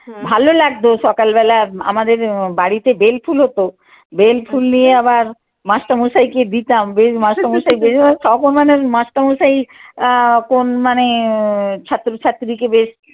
ভালো লাগতো সকালবেলা আমাদের বাড়িতে বেলফুল হতো বেলফুল নিয়ে আবার মাস্টারমশাইকে দিতাম বেল্ট মাস্টারমশাইদের অপমানের মাস্টারমশাই আহ কোন মানে ছাত্রছাত্রীকে বেশ